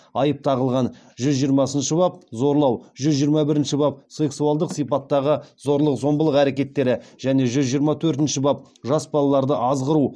айып тағылған жүз жиырмасыншы бап зорлау жүз жиырма бірінші бап сексуалдық сипаттағы зорлық зомбылық әрекеттері және жүз жиырма төртінші бап жас балаларды азғыру